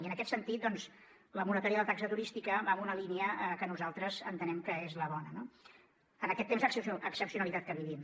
i en aquest sentit doncs la moratòria de la taxa turística va en una línia que nosaltres entenem que és la bona en aquest temps d’excepcionalitat que vivim